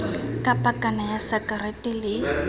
ka pakana ya sakarete le